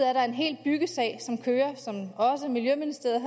er der en hel byggesag som kører og som miljøministeriet